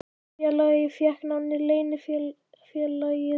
Félagið fékk nafnið Leynifélagið svarta höndin.